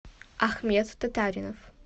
ахмед татаринов